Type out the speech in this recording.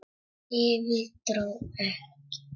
Yfir- dró ekki!